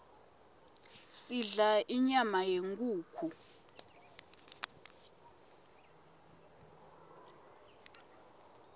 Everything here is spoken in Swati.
sidla inyama yenkhukhu